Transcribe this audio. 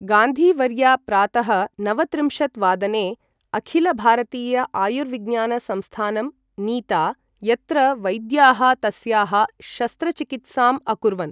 गान्धीवर्या प्रातः नवत्रिंशत् वादने अखिल भारतीय आयुर्विज्ञान संस्थानं नीता, यत्र वैद्याः तस्याः शस्त्रचिकित्साम् अकुर्वन्।